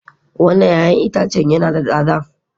Wannan 'ya'yan itace yana da tsada